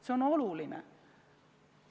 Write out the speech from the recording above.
See on oluline.